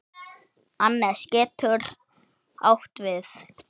Annes getur átt við